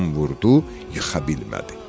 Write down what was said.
yıxa bilmədi.